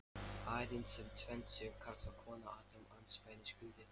Aðeins sem tvennd séu karl og kona Adam andspænis Guði.